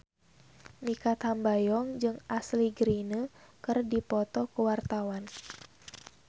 Mikha Tambayong jeung Ashley Greene keur dipoto ku wartawan